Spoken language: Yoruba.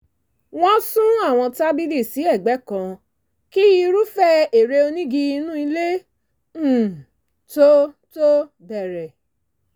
wọ́n sún àwọn tábìlì sí ẹ̀gbẹ́ kan kí irúfẹ́ eré onígi inú ilé um tó tó bẹ̀rẹ̀